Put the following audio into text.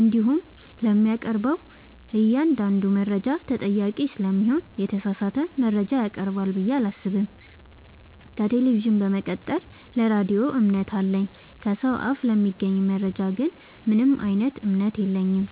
እንዲሁም ለሚያቀርበው እኛአንዳዱ መረጃ ተጠያቂ ስለሚሆን የተሳሳተ መረጃ ያቀርባል ብዬ አላሰብም። ከቴሌቪዥን በመቀጠል ለራዲዮ እምነት አለኝ። ከሰው አፍ ለሚገኝ መረጃ ግን ምንም እምነት የለኝም።